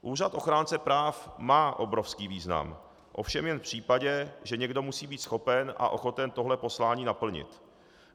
Úřad ochránce práv má obrovský význam, ovšem jen v případě, že někdo musí být schopen a ochoten tohle poslání naplnit.